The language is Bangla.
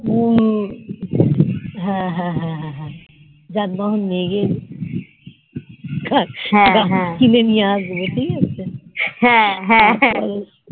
ফাউল হা হা হা হা যান বাহন নিয়ে গিয়ে কিনে নিয়ে আসবে ঠকাচ্ছে